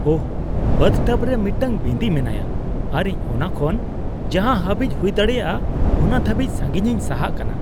ᱳᱦ!, bathtub ᱨᱮ ᱢᱤᱫᱴᱟᱝ ᱵᱤᱸᱫᱤ ᱢᱮᱱᱟᱭᱟ ᱟᱨ ᱤᱧ ᱚᱱᱟ ᱠᱷᱚᱱ ᱡᱟᱦᱟᱸ ᱦᱟᱹᱵᱤᱡ ᱦᱩᱭᱫᱟᱲᱮᱭᱟᱜ ᱚᱱᱟ ᱫᱷᱟᱹᱵᱤᱡ ᱥᱟᱺᱜᱤᱧᱤᱧ ᱥᱟᱦᱟᱜ ᱠᱟᱱᱟ ᱾